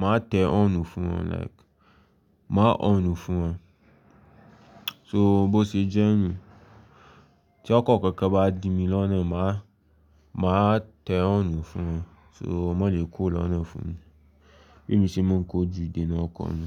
màá tẹ ọ́ọ́rùn fún wọ́n like, màá ọ́rùn fún un. So bó ṣe jẹ́ mi, tí ọkọ̀ kankan bá di mi lọ́nà, màá, màá tẹ ọ́rùn fún un so mo lè kó lọ́nà fún mi. Bí èmi ṣe ń kojú ìdènà ọkọ ni.